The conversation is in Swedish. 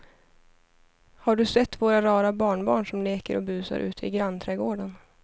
Har du sett våra rara barnbarn som leker och busar ute i grannträdgården!